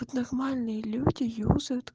вот нормальные люди юзают